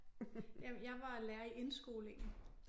Jeg jeg var lærer i indskolingen